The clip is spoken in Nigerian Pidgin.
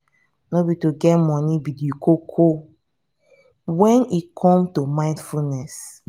no be to get money be di koko when e comes to mindfulness